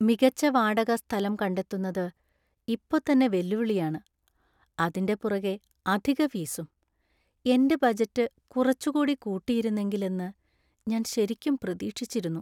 മികച്ച വാടക സ്ഥലം കണ്ടെത്തുന്നത് ഇപ്പൊ തന്നെ വെല്ലുവിളിയാണ്, അതിന്‍റെ പുറകെ അധിക ഫീസും. എന്‍റെ ബജറ്റ് കുറച്ചുകൂടി കൂട്ടിയിരുന്നെങ്കില്‍ എന്ന് ഞാൻ ശരിക്കും പ്രതീക്ഷിച്ചിരുന്നു.